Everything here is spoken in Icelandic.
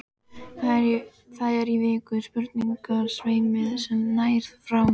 Það er í virkum sprungusveimi sem nær frá